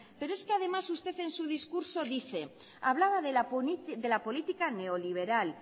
pero es que además usted en su discurso hablaba de la política neoliberal